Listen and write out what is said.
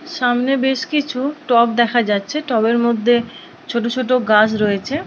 সামনে বেশ কিছু টব দেখা যাচ্ছে। টবের মধ্যে ছোট ছোট গাছ রয়েছে।